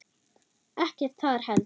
Ekkert þar heldur.